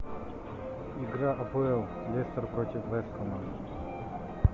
игра апл лестер против вест хэма